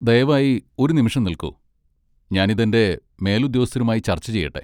ദയവായി ഒരു നിമിഷം നിൽക്കൂ. ഞാൻ ഇത് എന്റെ മേലുദ്യോഗസ്ഥരുമായി ചർച്ച ചെയ്യട്ടെ.